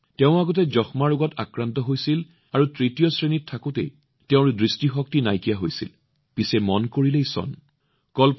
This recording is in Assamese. তেওঁ আগতে যক্ষ্মা ৰোগত আক্ৰান্ত আছিল আৰু যেতিয়া তেওঁ তৃতীয় শ্ৰেণীত আছিল তেওঁৰ দৃষ্টিশক্তি নাইকিয়া হৈছিল কিন্তু কোৱা হয় যে যতে ইচ্ছা ততে বাট